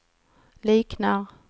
liknar